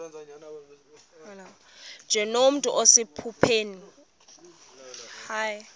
nje nomntu osephupheni